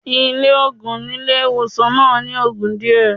Ilé òògùn nílé ìwòsàn náà ní ogún díẹ̀.